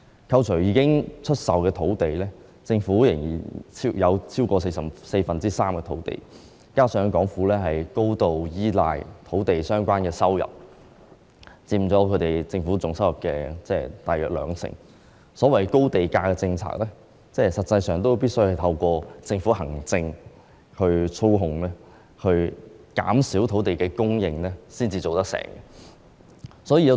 扣除已經出售的土地，政府仍然擁有超過四分之三的土地，加上港府高度依賴與土地相關、佔政府總收入大約兩成的收入，所謂的高地價政策實際上必須透過政府行政操控，減少土地供應才能成事。